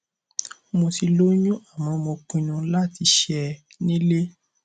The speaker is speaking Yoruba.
mo ti lóyún àmọ mo pinnu láti ṣẹ ẹ nílé